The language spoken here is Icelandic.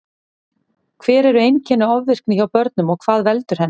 Hver eru einkenni ofvirkni hjá börnum og hvað veldur henni?